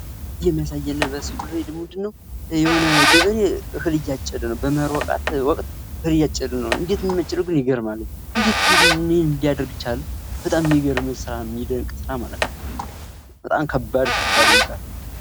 ይህ የሚያሳየን በምስሉ ላይ ደግሞ የሆነ ገበሬ እህል እያጨደ ነው። በመሀር ወቅት እህል እያጨዱ ነው። እንዴት የሚያጭዱት ይገርማል። ምን ሊያደርጉት ቻሉ። በጣም ይገርማል! የሚገምርም የሚደንቅ ስራ በጣም ብጣም ለባድ የሚባል ስራ ነው ማለት ነው።